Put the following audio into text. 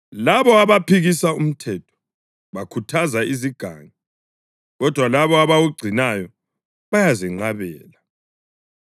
Labo abaphikisa umthetho bakhuthaza izigangi, kodwa labo abawugcinayo bayazenqabela.